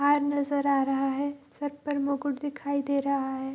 हार नजर आ रहा है सर पर मुकुट दिखाई दे रहा है।